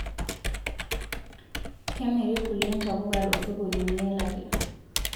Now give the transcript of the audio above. kemeriii kulie ntapuka too sokonini elatia